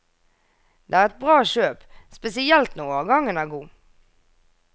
Det er et bra kjøp, spesielt når årgangen er god.